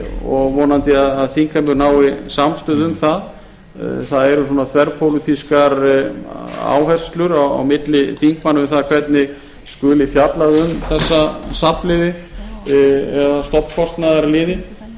og er vonandi að þingheimur nái samstöðu um það það eru svona þverpólitískar áherslur á milli þingmanna um það hvernig skuli fjallað um þessa safnliði eða stofnkostnaðarliði